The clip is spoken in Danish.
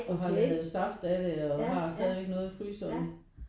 Og har lavet saft af det og har stadigvæk noget i fryseren